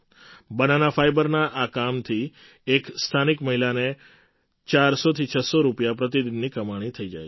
banana ફાઇબરના આ કામથી એક સ્થાનિક મહિલાને ચારસોથી છસો રૂપિયા પ્રતિદિનની કમાણી થઈ જાય છે